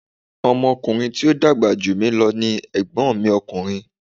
Ọmọ ọkùnrin tí o dàgbà jù mí lo ni Ègbón mi ọkùnrin